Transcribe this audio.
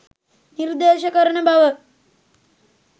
නිර්දේශ කරන බව